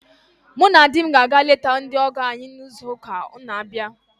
Mụ na di m ga-aga ileta ndị ọgọ anyị n'izu ụka na abịa